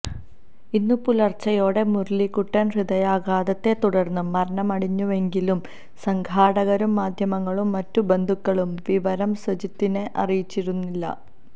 ഇന്നു പുലര്ച്ചയോടെ മുരളിക്കുട്ടന് ഹൃദയാഘാതത്തെ തുടര്ന്ന് മരണ മടഞ്ഞുവെങ്കിലും സംഘാടകരും മാധ്യമങ്ങളും മറ്റു ബന്ധുക്കളും വിവരം സുജിത്തിനെ അറിയിച്ചിരുന്നില്ല